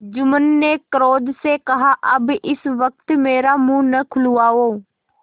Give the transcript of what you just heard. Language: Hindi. जुम्मन ने क्रोध से कहाअब इस वक्त मेरा मुँह न खुलवाओ